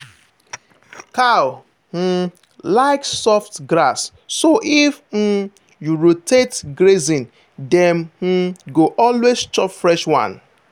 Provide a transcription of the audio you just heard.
cow um like soft grass so if um you rotate grazing dem um go always chop fresh one.